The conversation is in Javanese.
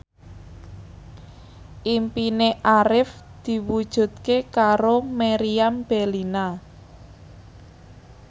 impine Arif diwujudke karo Meriam Bellina